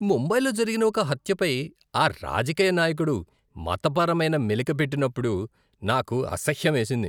ముంబైలో జరిగిన ఒక హత్యపై ఆ రాజకీయ నాయకుడు మతపరమైన మెలిక పెట్టినప్పుడు నాకు అసహ్యం వేసింది.